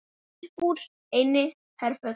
Uppúr einni herför